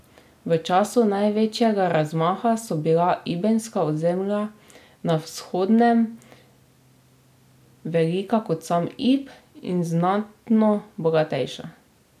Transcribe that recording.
V času največjega razmaha so bila ibbenska ozemlja na Vzhodnjem velika kot sam Ib in znatno bogatejša.